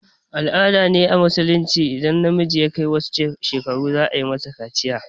Al-ada ce a musulunci idan ɗa namiji ya kai wani shekaru za a masa kaciya